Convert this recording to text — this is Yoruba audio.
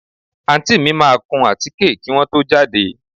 Àǹtí mi máa kún àtíké kí wọ́n tó jáde